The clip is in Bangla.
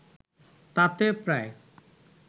তাতে প্রায়